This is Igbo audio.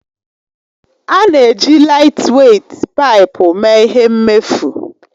A na-eji laịtweit paipu mee ihe mmefu.